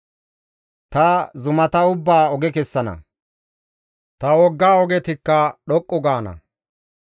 «Ta zumata ubbaa oge kessana; ta wogga ogetikka dhoqqu gaana.